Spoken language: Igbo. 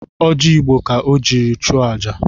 Ọji Igbo ka o jiri chụọ aja